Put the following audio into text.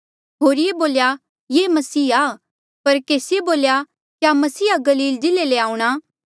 होरिये बोल्या ये मसीह आ पर केसिए बोल्या क्या मसीहा गलील जिल्ले ले आऊंणा